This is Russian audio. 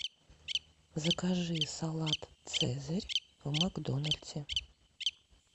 закажи салат цезарь в макдональдсе